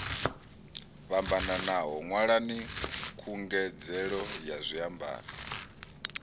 fhambanaho ṅwalani khungedzelo ya zwiambaro